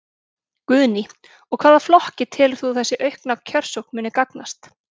Guðný: Og hvaða flokki telur þú að þessi aukna kjörsókn muni gagnast?